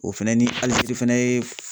O fɛnɛ ni Algérie fɛnɛ ye